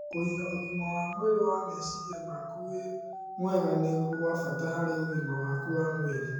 Kũiga ũgima wa mwĩrĩ wa meciria maku wĩ mwega nĩ gwa bata harĩ ũgima waku wa mwĩrĩ